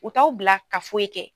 U t'aw bila ka foyi kɛ.